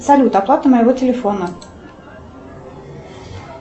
салют оплата моего телефона